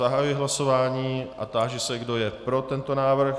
Zahajuji hlasování a táži se, kdo je pro tento návrh.